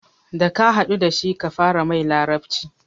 Da ka haɗu dashi kafara mai larabci